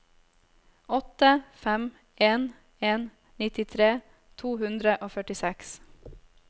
åtte fem en en nittitre to hundre og førtiseks